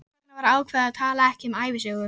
Erindi á þinginu voru gefin út í ráðstefnuriti.